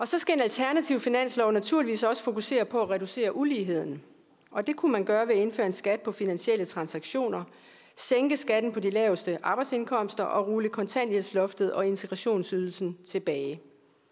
så skal en alternativ finanslov naturligvis også fokusere på at reducere uligheden det kunne man gøre ved at indføre en skat på finansielle transaktioner sænke skatten på de laveste arbejdsindkomster og rulle kontanthjælpsloftet og integrationsydelsen tilbage